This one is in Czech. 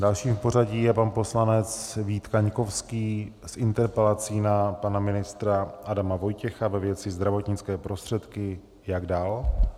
Dalším v pořadí je pan poslanec Vít Kaňkovský s interpelací na pana ministra Adama Vojtěcha ve věci zdravotnické prostředky, jak dál.